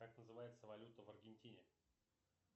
как называется валюта в аргентине